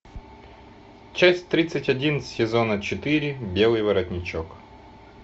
часть тридцать один сезона четыре белый воротничок